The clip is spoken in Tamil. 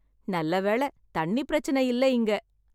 நல்லவேளை தண்ணி பிரச்சனை இல்ல இங்க.